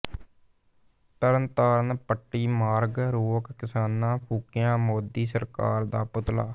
ਤਰਨਤਾਰਨ ਪੱਟੀ ਮਾਰਗ ਰੋਕ ਕਿਸਾਨਾਂ ਫੂਕਿਆ ਮੋਦੀ ਸਰਕਾਰ ਦਾ ਪੁਤਲਾ